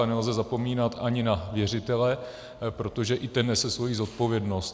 A nelze zapomínat ani na věřitele, protože i ten nese svoji zodpovědnost.